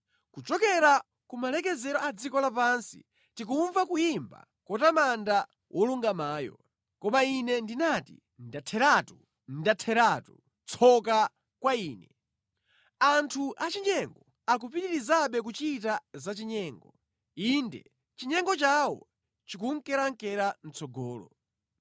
Kuchokera kumalekezero a dziko lapansi tikumva kuyimba kotamanda “Wolungamayo.” Koma ine ndinati, “Ndatheratu, ndatheratu! Tsoka kwa ine! Anthu achinyengo akupitirizabe kuchita zachinyengo, inde chinyengo chawo chikunkerankera mʼtsogolo.”